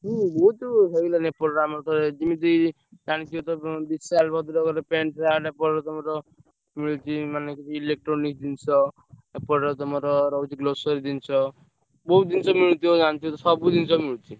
ହୁଁ ବହୁତ୍ ହେଇଗଲାଇଁ ଏପଟରେ ଆମର ତ ଯିମିତି ଜାଣିଥିବେ ତ ବିଶାଲ୍ ଭଦ୍ରକରେ pant, shirt ପରେ ତମର ମିଳୁଚି ମାନେ କିଛି electronic ଜିନିଷ। ଏପଟରେ ତମର ରହୁଛି grocery ଜିନିଷ। ବହୁତ୍ ଜିନିଷ ମିଳୁଥିବ ଜାଣିଥିବ ତ ସବୁ ଜିନିଷ ମିଳୁଚି।